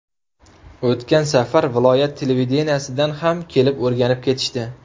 O‘tgan safar viloyat televideniyesidan ham kelib o‘rganib ketishdi.